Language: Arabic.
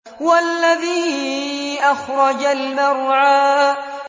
وَالَّذِي أَخْرَجَ الْمَرْعَىٰ